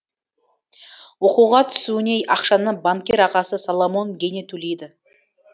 оқуға түсуіне ақшаны банкир ағасы соломон гейне төлейді